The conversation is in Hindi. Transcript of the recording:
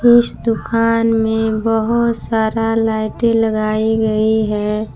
इस दुकान में बहोत सारा लाइटें लगाई गई है।